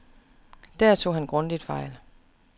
Der tog han grundigt fejl.